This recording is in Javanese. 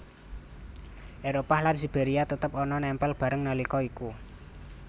Éropah lan Siberia tetep ana nempel bareng nalika iku